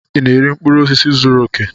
Ị na-eri mkpụrụ osisi zuru oke?